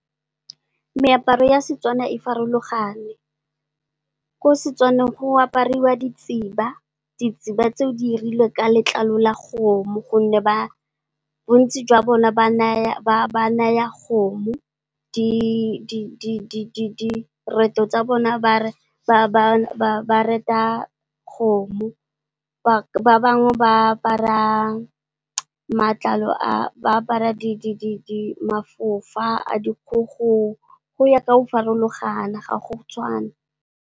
Meaparo ya Setswana e farologane ko Setswaneng go apariwa ditsiba, ditsiba tseo di irilwe ka letlalo la kgomo gonne, bontsi jwa bone sereto sa bone ba reta kgomo, ba bangwe ba apara matlalo, ba apara mafofa a dikgogo go ya ka go farologana ga go tshwane.